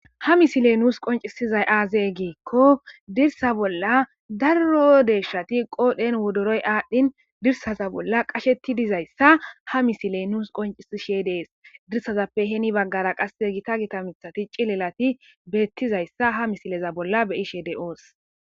Ha misile nuus qoncisizay aazee giikko dirsa bolla darro deeshshati qoodhen wodoroy aadhdhin dirsaza bolla qasheti dizayssa ha misiley nuus qoncisishe dees dirsazappe heni baggara qasse gita gita mithati cilelati beettizayssa ha misileza bolla beyishede ooss